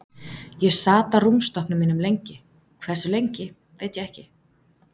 Ég sat á rúmstokknum mínum lengi, hversu lengi veit ég ekki.